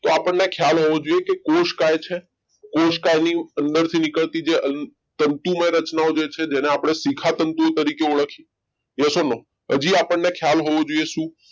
તો આપણને ખ્યાલ હોવો જોઈએ કે કોષકાય છે કોષકાયની અંદરથી નીકળતી જે તંતુમય રચનાઓ છે જેને આપણે શિખા તંતુ તરીકે ઓળખે છે yes or no પછી આપણને ખ્યાલ હોવો જોઈએ શું